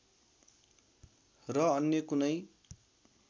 र अन्य कुनै